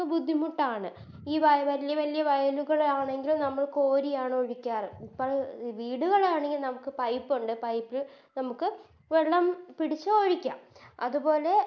ബുദ്ധിമുട്ടാണ് ഈ വയല് വല്യ വല്യ വയലുകളാണെങ്കിലും നമ്മള് കോരിയാണ് ഒഴിക്കാറ് ഇപ്പത് വീടുകളാണെങ്കി നമുക്കത് Pipe ഒണ്ട് Pipe നമുക്ക് വെള്ളം പിടിച്ച് ഒഴിക്കാം അത്പോലെ